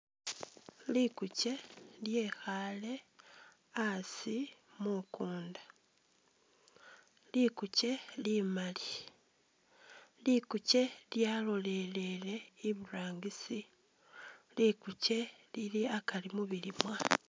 Lukuche lyekhaale asi mukunda, likuche limaali, likuche lyalolelele iburangisi lukuche Lili akaari mubilimwa.